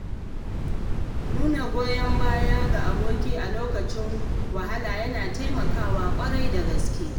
Nuna goyon baya ga Aboki a lokacin wahala yana taimakawa ƙwarai da gaske.